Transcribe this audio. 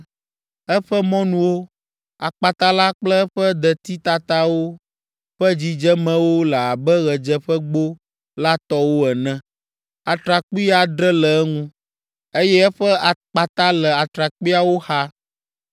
Eƒe mɔnuwo, akpata la kple eƒe detitatawo ƒe dzidzemewo le abe ɣedzeƒegbo la tɔwo ene. Atrakpui adre le eŋu, eye eƒe akpata le atrakpuiawo xa.